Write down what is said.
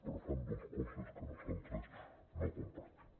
però fan dos coses que nosaltres no compartim